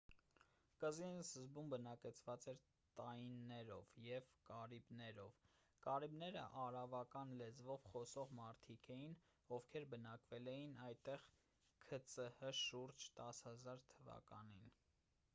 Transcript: կղզին սկզբում բնակեցված էր տայիններով և կարիբներով: կարիբները արավական լեզվով խոսող մարդիկ էին ովքեր բնակվել էին այդտեղ ք.ծ.հ. շուրջ 10 000 թ.-ին: